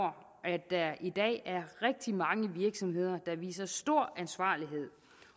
at der i dag er rigtig mange virksomheder der viser stor ansvarlighed